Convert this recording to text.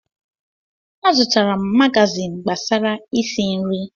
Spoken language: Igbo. Azụtara m magazin gbasara isi nri.